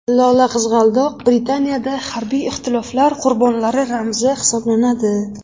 Lola-qizg‘aldoq Britaniyada harbiy ixtiloflar qurbonlari ramzi hisoblanadi.